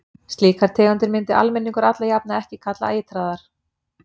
Slíkar tegundir myndi almenningur alla jafna ekki kalla eitraðar.